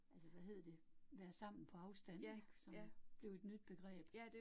Altså hvad hed det, være sammen på afstand ik, som blev et nyt begreb